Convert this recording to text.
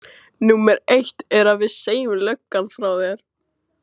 Númer eitt er að við segjum löggan frá þér.